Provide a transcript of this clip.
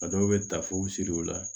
A dɔw bɛ taa f'u siri o la